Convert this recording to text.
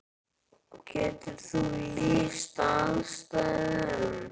Getur þú lýst aðstæðum?